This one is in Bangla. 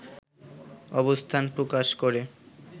অবস্থান প্রকাশ করে